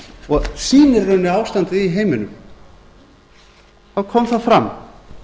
og sýnir í rauninni ástandið í heiminum þá kom það fram